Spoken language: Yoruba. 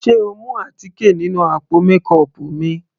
Sé o mú àtíkè nínú àpò mékọọpù mi.